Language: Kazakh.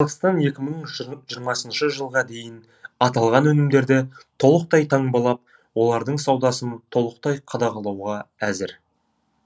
қазақстан екі мың жиырмасыншы жылға дейін аталған өнімдерді толықтай таңбалап олардың саудасын толықтай қадағалауға әзір